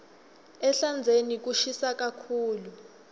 ehlandzeni kushisa kakhulu